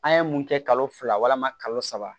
An ye mun kɛ kalo fila ma kalo saba